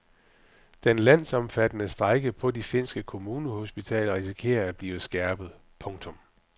Den landsomfattende strejke på de finske kommunehospitaler risikerer at blive skærpet. punktum